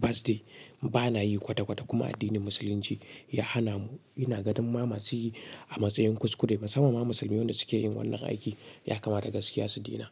birthday. Ba na yi kwata kwata kuma addinin Musulunci ya hana mu. Ina ganin ma masu yi a matsayin kuskure. Masamman ma musulmi wan da suke yin wannan aiki ya kamata gaskiya su daina.